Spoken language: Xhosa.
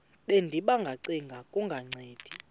bendiba ngacenga kungancedi